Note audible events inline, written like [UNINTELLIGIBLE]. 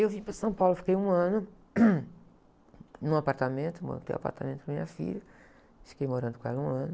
E eu vim para São Paulo, fiquei um ano, [UNINTELLIGIBLE] num apartamento, montei um apartamento para a minha filha, fiquei morando com ela um ano.